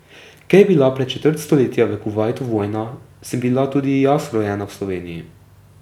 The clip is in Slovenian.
Ker je bila pred četrt stoletja v Kuvajtu vojna, sem bila tudi jaz rojena v Sloveniji.